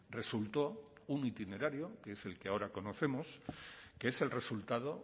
resultó un itinerario que es el que ahora conocemos que es el resultado